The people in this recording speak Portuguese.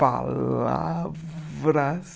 Palavras